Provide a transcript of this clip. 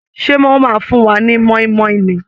Ṣé wọ́n máa fún wa ni mọ́ínmọ́ín ni!